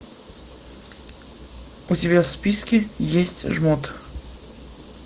у тебя в списке есть жмот